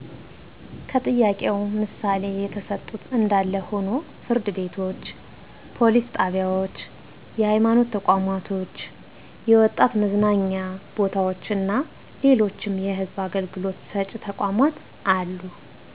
ከጥያቄው ምሣሌ የተሠጡት እንዳለ ሆኖ ፍርድ ቤቶች፣ ፓሊስ ጣቢያዎች፣ የሐይማኖት ተቋማቶች፣ የወጣት መዝናኛ ቦታዎችና ሌሎችም የሕዝብ አገልግሎት ሰጭ ተቋማት አሉ።